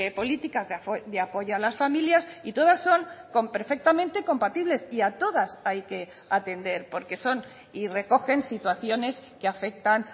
políticas de apoyo a las familias y todas son con perfectamente compatibles y a todas hay que atender porque son y recogen situaciones que afectan